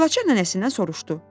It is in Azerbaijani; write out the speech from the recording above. Gülaçar nənəsindən soruşdu: